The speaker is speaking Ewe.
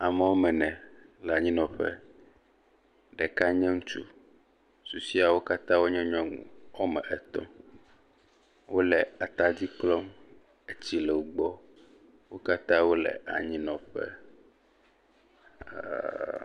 Ame woame ene le anyinɔƒe. Ɖeka nye ŋutsu. Susɔeawo nye nyɔnu. Xɔme etɔ̃. Wole atadi klɔm. Etsi le wogbɔ. Wo katã wole anyinɔƒe. ɛɛɛɛɛ.